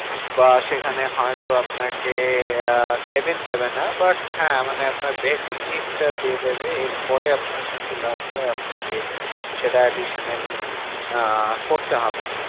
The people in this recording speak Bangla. বা সেখানে হয়তো আপনাকে আহ cavin দেবে না। but হ্যাঁ মানে আপনার basic need টা দিয়ে দেবে। এর পরে আপনার কিছু লাগলে আপনাকে সেটা additionally আহ করতে হবে।